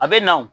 A bɛ na o